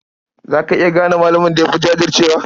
Za ka iya gane malamin da ya fi jajircewa?